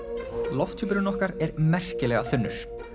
lofthjúpurinn okkar er merkilega þunnur